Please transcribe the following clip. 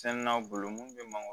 Sɛnnanw bolo mun bɛ mankan